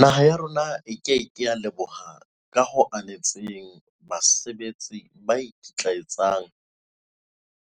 "Naha ya rona e ke ke ya leboha ka ho anetseng basebetsi ba ikitlaetsang